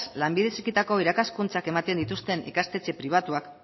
lanbide heziketako irakaskuntzak ematen dituzten ikastetxe pribatuak